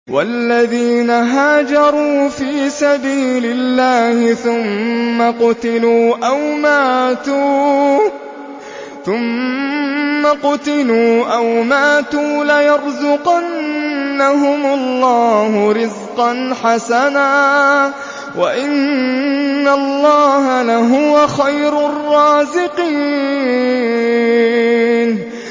وَالَّذِينَ هَاجَرُوا فِي سَبِيلِ اللَّهِ ثُمَّ قُتِلُوا أَوْ مَاتُوا لَيَرْزُقَنَّهُمُ اللَّهُ رِزْقًا حَسَنًا ۚ وَإِنَّ اللَّهَ لَهُوَ خَيْرُ الرَّازِقِينَ